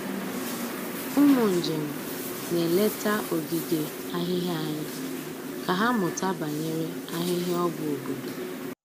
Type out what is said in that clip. Ụmụ njem na-eleta ogige ahịhịa anyị ka ha mụta banyere ahịhịa ọgwụ obodo.